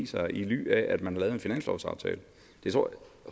sig i ly af at man har lavet en finanslovsaftale det